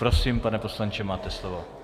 Prosím, pane poslanče, máte slovo.